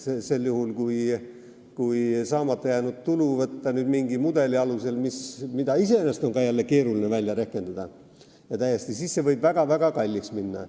Sel juhul, kui võtta mingi mudeli alusel saamata jäänud tulu, mida iseenesest on jälle keeruline välja rehkendada, siis võib see väga-väga kalliks minna.